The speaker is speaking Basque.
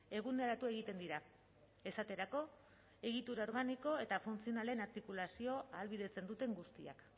eguneratu egiten dira esaterako egitura organiko eta funtzionalen artikulazio ahalbidetzen duten guztiak